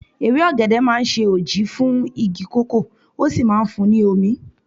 Ewé ọ̀gẹ̀dẹ̀ máa ń ṣe òji fún igi kòkó, ó sì máa ń fun ní omi.